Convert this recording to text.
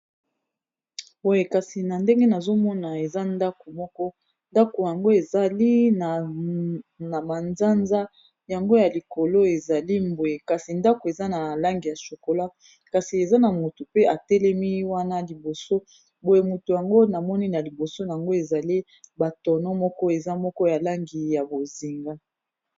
Boye kasi na ndenge nazomona eza ndako moko ndako yango ezali na manzanza yango ya likolo ezali mboye kasi ndako eza na langi ya sokola kasi eza na moto pe atelemi wana liboso boye moto yango namoni na liboso yango ezali batono moko eza moko ya langi ya bozinga